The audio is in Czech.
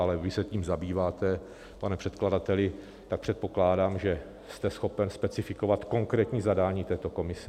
Ale vy se tím zabýváte, pane předkladateli, tak předpokládám, že jste schopen specifikovat konkrétní zadání této komise.